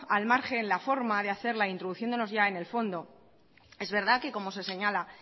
al margen la forma de hacerla e introduciéndonos ya en el fondo es verdad que como se señala